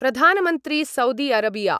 Pradhan Mantri Saudi Arabia